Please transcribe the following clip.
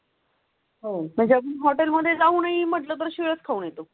हो म्हणजे आपण हॉटेल मध्ये जाऊन ही म्हटलं तर शेत खाऊन येतो.